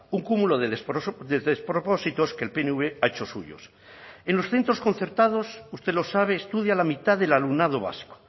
un cúmulo de despropósitos que el pnv ha hecho suyos en los centros concertados usted lo sabe estudia la mitad del alumnado vasco